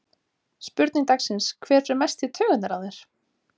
Spurning dagsins: Hver fer mest í taugarnar á þér?